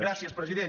gràcies president